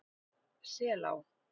Selá